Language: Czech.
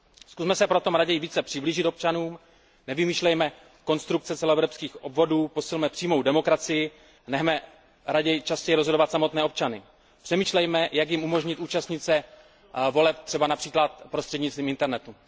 Zkusme se proto raději více přiblížit občanům, nevymýšlejme konstrukce celoevropských obvodů, posilme přímou demokracii, nechme raději častěji rozhodovat samotné občany. Přemýšlejme, jak jim umožnit účastnit se voleb například prostřednictvím internetu.